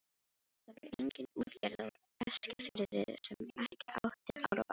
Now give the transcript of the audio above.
Það var engin útgerð á Eskifirði sem ekki átti árabát.